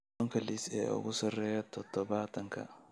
Tobanka liis ee ugu sarreeya toddobaadkan